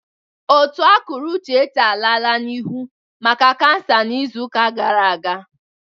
Ótù akụrụ Uchechi alala n'ihu maka kansa n'izu gara aga.